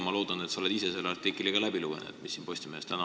Ma loodan, et sa oled ise ka selle täna Postimehes avaldatud artikli läbi lugenud.